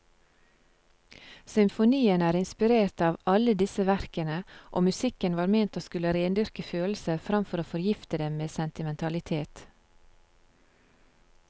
Symfonien er inspirert av alle disse verkene, og musikken var ment å skulle rendyrke følelser framfor å forgifte dem med sentimentalitet.